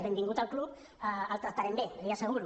benvingut al club el tractarem bé l’hi asseguro